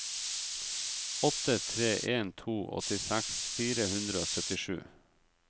åtte tre en to åttiseks fire hundre og syttisju